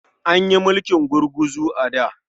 An yi mulkin gurguzu a da.